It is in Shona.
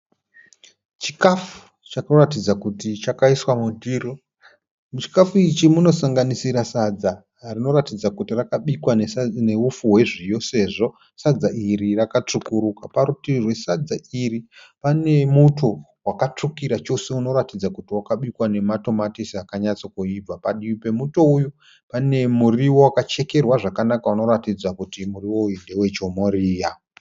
Chikafu chikuratidza kuti chakaiswa mundiro. Muchikafu ichi munosanganisira sadza rinoratidza kuti rakabikwa neufu hwezviyo sezvo sadza iri rakatsvukuruka. Parutivi rwesadza iri pane muto wakatsvukira chose unoratidza kuti wakabikwa nematomatisi akanyatsokuibva. Padivi pemuto uyu pane muriwo wakachekerwa zvakanaka unoratidza kuti muriwo uyu ndewe chomoriya.